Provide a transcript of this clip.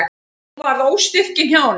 Hún varð óstyrk í hnjánum.